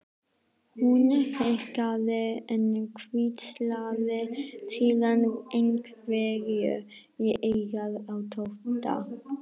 Hún hikaði en hvíslaði síðan einhverju í eyrað á Tóta.